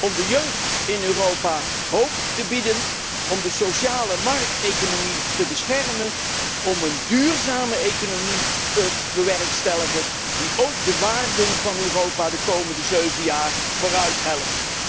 Om de jeugd in Europa hoop te bieden, om de sociale markteconomie te beschermen, om een duurzame economie te bewerkstelligen die ook de waarden van Europa de komende zeven jaar vooruithelpt.